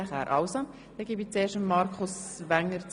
Ich gebe das Wort den Antragstellern. ).